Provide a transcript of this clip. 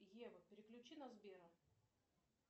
ева переключи на сбера